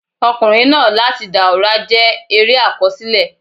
"Ọkùnrin náà láti Dàùra" jẹ́ eré àkọsílẹ̀.